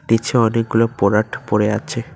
পিছে অনেকগুলো পরাট পড়ে আছে।